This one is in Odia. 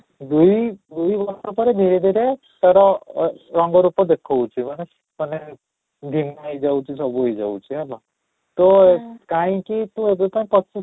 ଦୁଇ ଦୁଇ ବର୍ଷ ପରେ ଧୀରେ ଧୀରେ ତୋର ଅଃ ରଙ୍ଗ ରୂପ ଦେଖଉଛି ମାନେ ମାନେ ଦିନ ହେଇ ଯାଉଛି ସବୁ ହେଇ ଯାଉଛି ହେଲା ତ କାହିଁକି ତୁ ଅଯଥା ପଚିଶ